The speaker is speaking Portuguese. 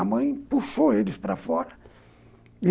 A mãe puxou eles para fora.